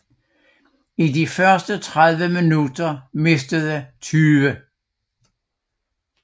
I de første 30 minutter mistede 20